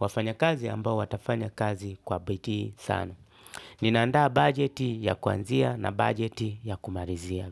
Wafanya kazi ambao watafanya kazi kwa badii sana. Ninaanda budget ya kuanzia na budget ya kumalizia.